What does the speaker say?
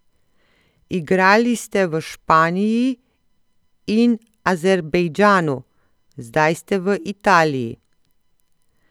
Igrali ste v Španiji in Azerbejdžanu, zdaj ste v Italiji.